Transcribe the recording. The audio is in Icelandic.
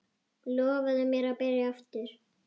Lofaðu mér að byrja aftur!